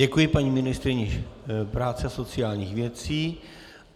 Děkuji paní ministryni práce a sociálních věcí.